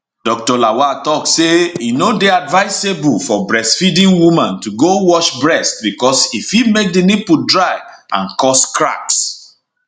dr lawal tok say e no dey advisable for breastfeeding woman to go wash breast becos e fit make di nipple dry and cause cracks